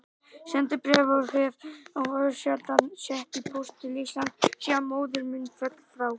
Sendibréf hef ég örsjaldan sett í póst til Íslands síðan móðir mín féll frá.